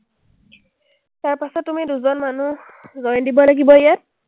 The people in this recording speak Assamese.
তাৰপাছত তুমি দুজন মানুহ join দিব লাগিব ইয়াত।